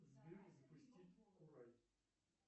сбер запустить курай